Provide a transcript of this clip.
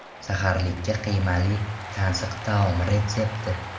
Saharlikka qiymali tansiq taom retsepti.